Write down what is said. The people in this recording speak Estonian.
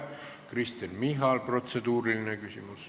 Kristen Michal, protseduuriline küsimus.